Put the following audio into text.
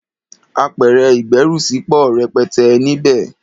Apẹ̀rẹ̀ ìgbẹ́rùsí pọ̀ rẹpẹtẹ níbẹ̀.